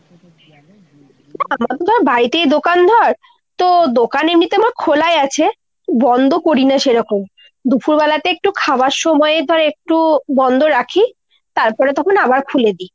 না বড়িতেই দোকান ধর। তো দোকান এমনিতে আমার খোলাই আছে, বন্দ করিনা সেরকম। দুফুরবেলাতে একটু খাওয়ার সময় ধর একটু বন্দ রাখি। তারপরে তখন আবার খুলে দি।